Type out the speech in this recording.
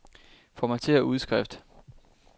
Formatér udskrift.